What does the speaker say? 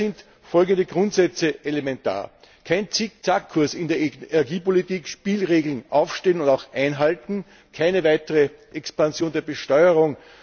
Daher sind folgende Grundsätze elementar kein Zickzackkurs in der Energiepolitik, Spielregeln aufstellen und auch einhalten, keine weitere Expansion der Besteuerung.